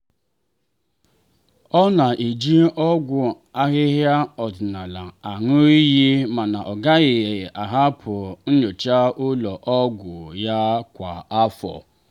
ọ na-eji ọgwụ ahịhịa ọdịnala aṅụ iyi mana ọ gaghị ahapụ nyocha ụlọ ọgwụ ya kwa afọ.